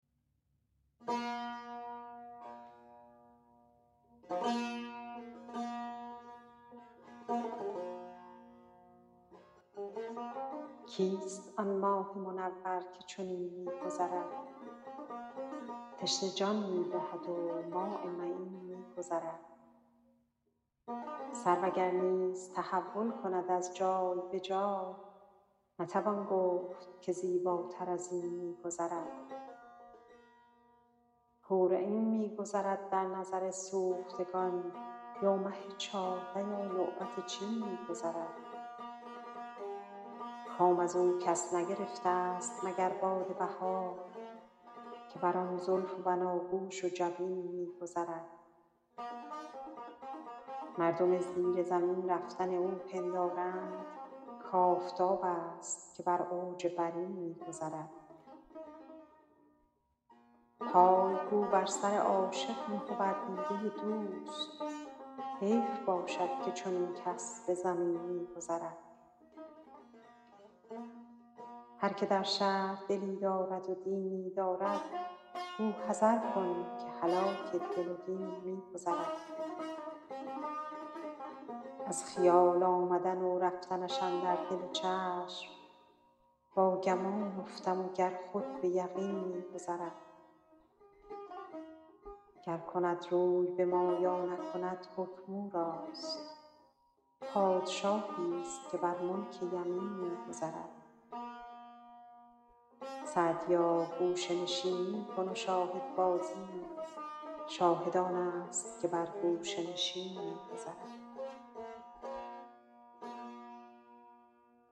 کیست آن ماه منور که چنین می گذرد تشنه جان می دهد و ماء معین می گذرد سرو اگر نیز تحول کند از جای به جای نتوان گفت که زیباتر از این می گذرد حور عین می گذرد در نظر سوختگان یا مه چارده یا لعبت چین می گذرد کام از او کس نگرفتست مگر باد بهار که بر آن زلف و بناگوش و جبین می گذرد مردم زیر زمین رفتن او پندارند کآفتابست که بر اوج برین می گذرد پای گو بر سر عاشق نه و بر دیده دوست حیف باشد که چنین کس به زمین می گذرد هر که در شهر دلی دارد و دینی دارد گو حذر کن که هلاک دل و دین می گذرد از خیال آمدن و رفتنش اندر دل و چشم با گمان افتم و گر خود به یقین می گذرد گر کند روی به ما یا نکند حکم او راست پادشاهیست که بر ملک یمین می گذرد سعدیا گوشه نشینی کن و شاهدبازی شاهد آنست که بر گوشه نشین می گذرد